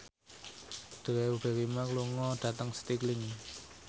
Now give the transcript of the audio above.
Drew Barrymore lunga dhateng Stirling